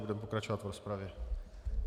Budeme pokračovat v rozpravě.